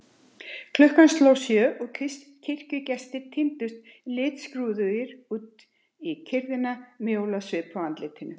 Klukkan sló sjö og kirkjugestirnir tíndust litskrúðugir út í kyrrðina með jólasvip á andlitunum.